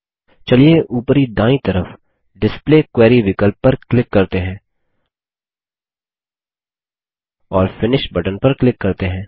चलिए उपरी दायीं तरफ डिस्प्ले क्वेरी विकल्प पर क्लिक करते हैं और फिनिश बटन पर क्लिक करते हैं